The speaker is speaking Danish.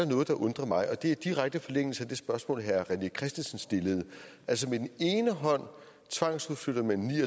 noget der undrer mig og det er i direkte forlængelse af det spørgsmål herre rené christensen stillede altså med den ene hånd tvangsforflytter man